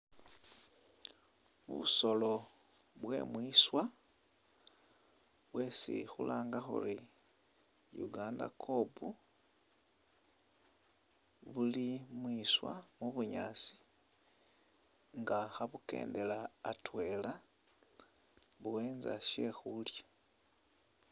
Busoolo bwemwiswa bwesi khulanga khuri Uganda kob buli mwiswa mu'bunyaasi nga khabukendela atwela bu'enza shekhulya